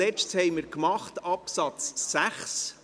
Als Letztes behandelten wir Absatz 6.